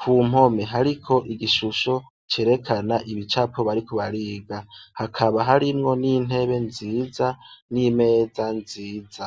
kumpome hariko igishusho cerekana ibicapo bariko bariga hakaba harimwo nintebe nziza nimeza nziza